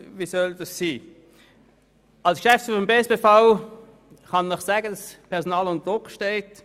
Als Geschäftsführer des Bernischen Staatspersonalverbands (BSPV) kann ich Ihnen sagen, dass das Personal unter Druck steht.